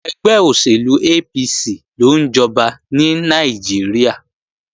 Ẹgbẹ́ òṣèlú APC ló ń jọba ní Nàìjíríà